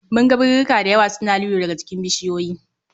Mun ga birirrika dayawa suna lilo daga jikin bishiyoyi